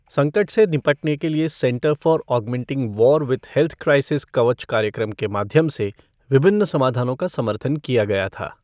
संकट से निपटने के लिए centre for augmenting war with health crisis Kavach कार्यक्रम के माध्यम से विभिन्न समाधानों का समर्थन किया गया था।